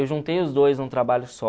Eu juntei os dois num trabalho só...